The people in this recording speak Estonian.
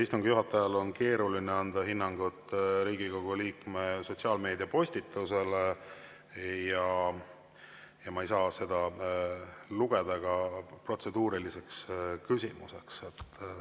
Istungi juhatajal on keeruline anda hinnangut Riigikogu liikme sotsiaalmeediapostitusele ja ma ei saa seda lugeda ka protseduuriliseks küsimuseks.